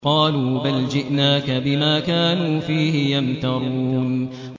قَالُوا بَلْ جِئْنَاكَ بِمَا كَانُوا فِيهِ يَمْتَرُونَ